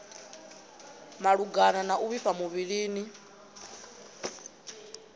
malugana na u vhifha muvhilini